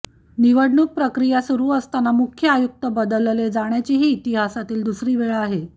निवडणूक प्रक्रिया सुरू असताना मुख्य आयुक्त बदलले जाण्याची ही इतिहासातील दुसरी वेळ आहे